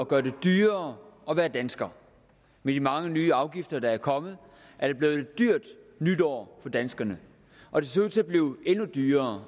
gøre det dyrere at være dansker med de mange nye afgifter der er kommet er det blevet et dyrt nytår for danskerne og det ser ud til at blive endnu dyrere